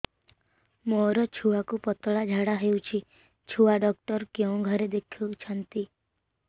ମୋର ଛୁଆକୁ ପତଳା ଝାଡ଼ା ହେଉଛି ଛୁଆ ଡକ୍ଟର କେଉଁ ଘରେ ଦେଖୁଛନ୍ତି